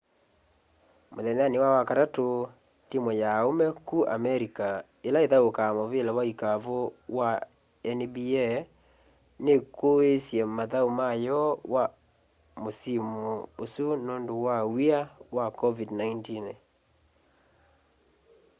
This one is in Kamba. muthenyani wa wakatatu timu ya aume ku america ila ithaukaa muvila wa ikavu ya nba nikuiiisye mathau mayo wa musimu usu nundu wa w'ia wa covid-19